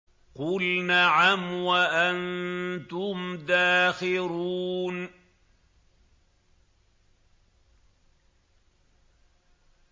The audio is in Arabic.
قُلْ نَعَمْ وَأَنتُمْ دَاخِرُونَ